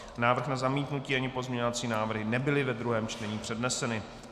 Návrh na zamítnutí, ani pozměňovací návrhy nebyly ve druhém čtení předneseny.